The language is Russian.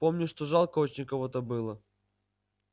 помню что жалко очень кого-то было